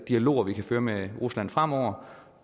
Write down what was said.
dialog vi kan føre med rusland fremover